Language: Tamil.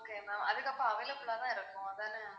okay ma'am அதுக்கப்புறம் available ல தான் இருக்கும் அதானே?